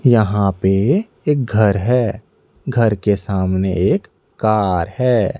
यहां पे एक घर है घर के सामने एक कार है।